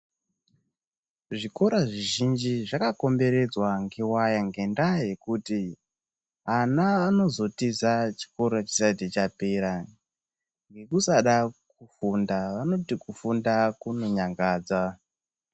Zvikora zvizhinji zvakakomberedzwa ngewaya ngendaa yekuti ana anozotiza chikora chisati chapera ngekusada kufunda. Vanoti kufunda kunonyangadza.